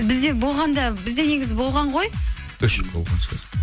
бізде болғанда бізде негізі болған ғой өшіп қалған шығар